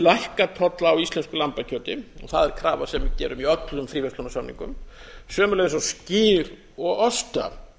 lækka tolla á íslensku lambakjöti og það er krafa sem við gerum í öllum fríverslunarsamningum sömuleiðis á skyr og osta